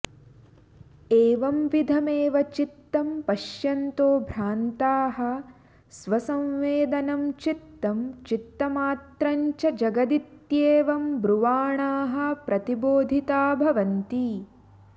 एवंविधमेव चित्तं पश्यन्तो भ्रान्ताः स्वसंवेदनं चित्तं चित्तमात्रं च जगदित्येवं ब्रुवाणाः प्रतिबोधिता भवन्ति